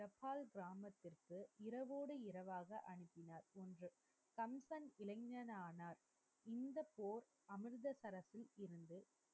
டெப்பால் கிராமத்திற்கு இரவோடு இரவாக அனுப்பினார். ஒன்று, கம்பன் இளைஞனான் இந்த போர் அமிர்ததிரசின் மிகவும்